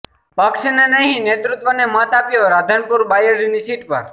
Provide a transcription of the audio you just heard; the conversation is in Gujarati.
પક્ષને નહી નેતૃત્વને મત આપ્યો રાધનપુર બાયડની સીટ પર